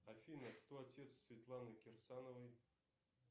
афина кто отец светланы керсановой